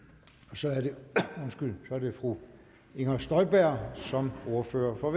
så er det fru inger støjberg som ordfører for